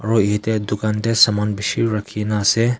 aro yetey dukan tey saman bishi rakhina ase.